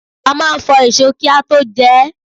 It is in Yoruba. A máa ń fọ èso kí a tó jẹ ẹ́.